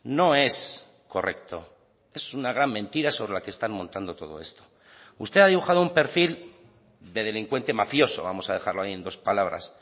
no es correcto es una gran mentira sobre la que están montando todo esto usted ha dibujado un perfil de delincuente mafioso vamos a dejarlo ahí en dos palabras